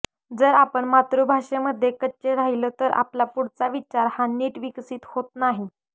जर आपण मातृभाषेमध्ये कच्चे राहिलो तर आपला पुढचा विचार हा नीट विकसित होत नाही